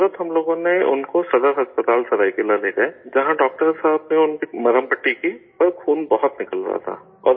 فوراً ہم لوگ ان کو صدر اسپتال سرائیکیلا لے گئے جہاں ڈاکٹر صاحب نے ان کی مرہم پٹی کی، مگر خون بہت نکل رہا تھا